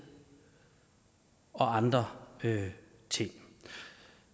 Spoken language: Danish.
og andre ting